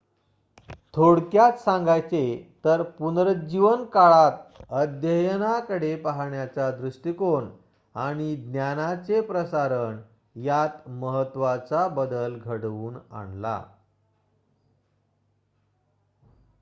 थोडक्यात सांगायचे तर पुनरुज्जीवन काळात अध्ययना कडे पाहण्याचा दृष्टीकोन आणि ज्ञानाचे प्रसारण यात महत्वाचा बदल घडवून आणला